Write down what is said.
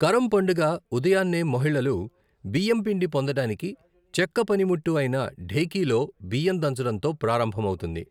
కరమ్ పండుగ ఉదయాన్నే మహిళలు, బియ్యం పిండి పొందడానికి చెక్క పనిముట్టు అయిన ఢేకీలో బియ్యం దంచడంతో ప్రారంభమవుతుంది.